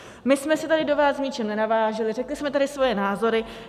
My jsme se tady do vás v ničem nenavážely, řekly jsme tady svoje názory.